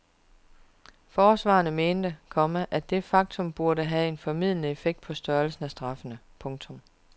Forsvarerne mente, komma at det faktum burde have en formildende effekt på størrelsen af straffene. punktum